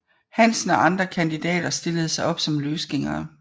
Hansen og andre kandidater stillede op som løsgængere